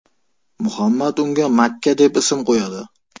Muhammad unga Makka deb ism qo‘yadi.